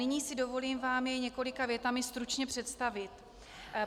Nyní si dovolím vám jej několika větami stručně představit.